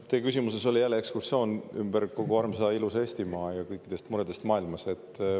Teie küsimuses oli jälle ekskursioon ümber kogu armsa ilusa Eestimaa ja kõik mured maailmas.